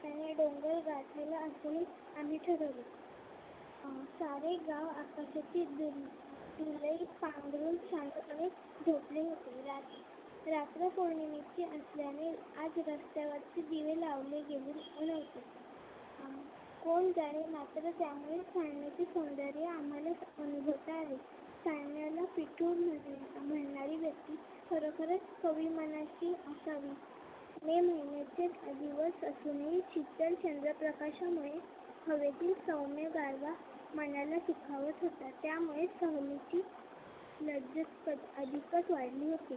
दिवस असूनही शीतल चंद्रप्रकाशामुळे हवेतील सौम्य गारवा मनाला सुखावत होता त्यामुळे सहलीची लज्जत अधिकच वाढली होती.